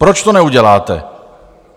Proč to neuděláte?